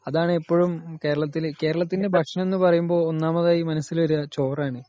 അതാണ് എപ്പോഴും കേരത്തിൽ.കേരളത്തിൻെറ ഭക്ഷണം എന്ന് പറയുമ്പോ ഒന്നാമതായി മനസ്സിൽ വേരുവ ചോറ് ആണ് .